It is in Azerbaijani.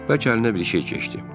Bəlkə əlinə bir şey keçdi.